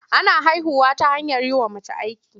Ana haihuwa ta hanyar yi wa mace aiki.